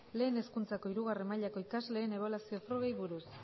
lehen hezkuntzako hiru mailako ikasleen ebaluazio frogei buruz